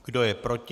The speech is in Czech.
Kdo je proti?